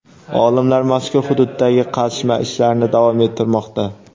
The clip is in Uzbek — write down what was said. Olimlar mazkur hududdagi qazishma ishlarini davom ettirmoqda.